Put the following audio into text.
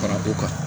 Fara ko kan